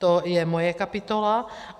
To je moje kapitola.